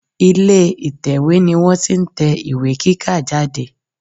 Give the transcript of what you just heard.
Ilè ìtẹ̀wé ni wọ́n ti n tẹ ìwé kíkà jáde